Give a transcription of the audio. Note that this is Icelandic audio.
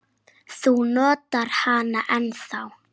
Þú notar hana ennþá.